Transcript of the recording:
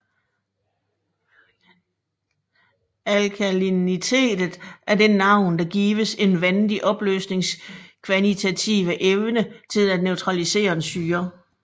Alkalinitet er det navn der gives en vandig opløsnings kvantitative evne til at neutralisere en syre